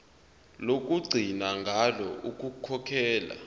lokugcina ngalo ukukhokhela